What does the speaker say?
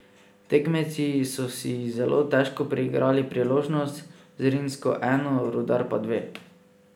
Tekmeci so si zelo težko priigrali priložnosti, Zrinjski eno, Rudar pa dve.